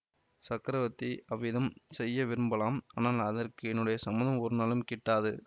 சக்கரவர்த்தி அவ்விதம் செய்ய விரும்பலாம் ஆனால் அதற்கு என்னுடைய சம்மதம் ஒருநாளும் கிட்டாது